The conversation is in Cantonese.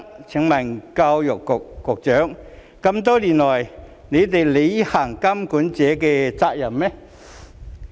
請問教育局局長多年來有履行過監管者的責任嗎？